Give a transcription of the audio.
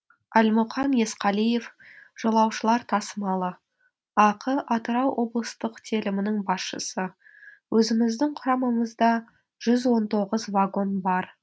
әлмұқан есқалиев жолаушылар тасымалы ақ атырау облыстық телімінің басшысы өзіміздің құрамамызда жүз он тоғыз вагон бар